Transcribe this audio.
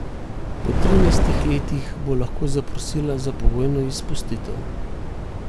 Po trinajstih letih bo lahko zaprosila za pogojno izpustitev.